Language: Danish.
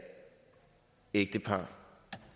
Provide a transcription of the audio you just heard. ægtepar